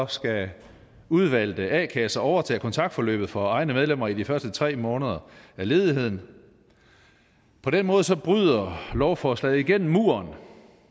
skal udvalgte a kasser overtage kontaktforløbet for egne medlemmer i de første tre måneder af ledigheden på den måde bryder lovforslaget igennem muren